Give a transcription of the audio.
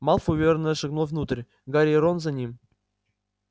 малфой уверенно шагнул внутрь гарри и рон за ним